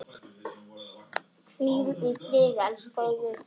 Hvíl í friði, elsku Auður.